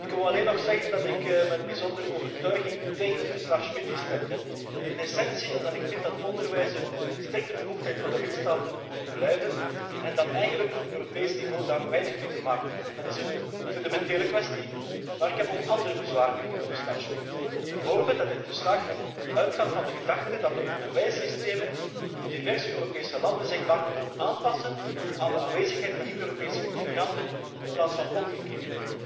Ik wou alleen nog zeggen dat ik met bijzondere overtuiging tegen het verslag Schmitt gestemd heb, in de eerste plaats omdat ik vind dat onderwijs een bevoegdheid van de lidstaten moet blijven en het Europees niveau daar eigenlijk weinig mee te maken heeft. Dat is een fundamentele kwestie. Maar ik heb ook andere bezwaren tegen het verslag Schmitt, bijvoorbeeld dat dit verslag uitgaat van de gedachte dat de onderwijssystemen in de diverse Europese landen zich maar moeten aanpassen aan de aanwezigheid van niet Europese immigranten in plaats van omgekeerd.